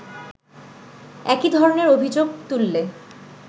একই ধরণের অভিযোগ তুললে